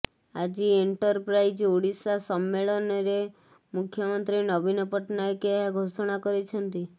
ଆଜି ଏଣ୍ଟରପ୍ରାଇଜ୍ ଓଡ଼ିଶା ସମ୍ମେଳନରେ ମୁଖ୍ୟମନ୍ତ୍ରୀ ନବୀନ ପଟ୍ଟନାୟକ ଏହା ଘୋଷଣା କରିଛନ୍ତି